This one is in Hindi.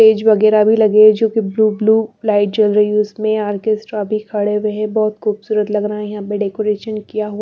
पेज वगैरा भी लगे है जो की ब्लू ब्लू लाइट जल रही है उसमें आर्केस्ट्रा भी खड़े हुए है बहोत खूबसूरत लग रहे है यहां पे डेकोरेशन किए हुआ--